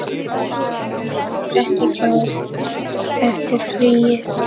Birkir ekki klár eftir fríið?